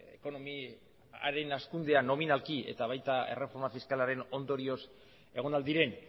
ekonomiaren hazkundea nominalki eta baita erreforma fiskalaren ondorioz egon al diren